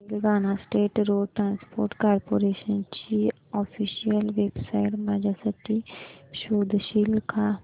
Telangana state road transport corporation ची official website माझ्यासाठी शोधशील का